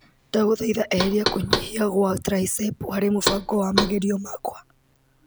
Ndagũthaitha eheria kũnyihia gwa traecepũ hari mubango wa mageria makwa.